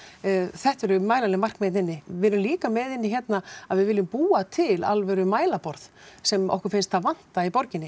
þetta eru mælanleg markmið hérna inni við erum líka með hérna að við viljum búa til alvöru mælaborð sem okkur finnst vanta í borginni